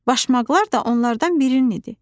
Başmaqlar da onlardan birinin idi.